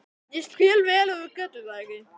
Ég skil vel ef þú getur það ekki.